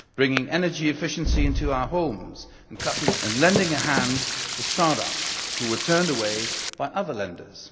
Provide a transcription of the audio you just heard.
bringing energy efficiency into our homes and cutting our bills and lending a hand to start ups who were turned away by other lenders.